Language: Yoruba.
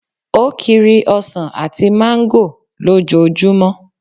O kiri ọsàn àti mango ló jo jumo